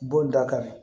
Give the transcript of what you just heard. Bon da ka di